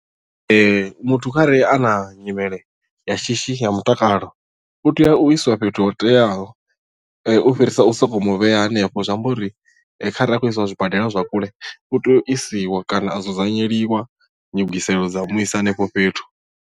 Ee muthu kharali a na nyimele ya shishi ya mutakalo u tea u isiwa fhethu ho teaho u fhirisa u sokou mu vhea hanefho zwi amba uri kharali a tshi khou isiwa zwibadela zwa kule u tea u isiwa kana a dzudzanyeliwa ndugiselo dza u muisa hanefho fhethu.